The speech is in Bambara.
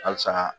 Halisa